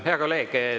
Hea kolleeg!